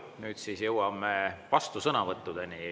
Nüüd jõuame vastusõnavõttudeni.